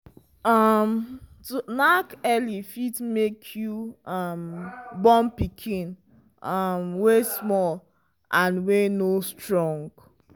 um to knack early fit make you um born pikin um wy small and wy no go strong